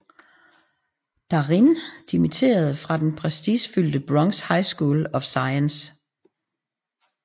Darin dimitterede fra den prestigefyldte Bronx High School of Science